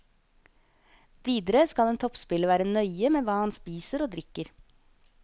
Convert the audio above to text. Videre skal en toppspiller være nøye med hva han spiser og drikker.